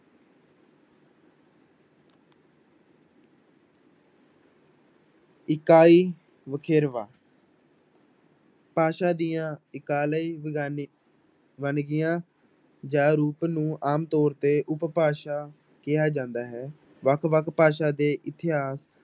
ਇਕਾਈ ਵਖਰੇਵਾਂ ਭਾਸ਼ਾ ਦੀਆਂ ਇਕਾਲੀ ਬਗਾਨੀ ਵੰਨਗੀਆਂ ਜਾਂ ਰੂਪ ਨੂੰ ਆਮ ਤੌਰ ਤੇ ਉਪਭਾਸ਼ਾ ਕਿਹਾ ਜਾਂਦਾ ਹੈ, ਵੱਖ ਵੱਖ ਭਾਸ਼ਾ ਦੇ ਇਤਿਹਾਸ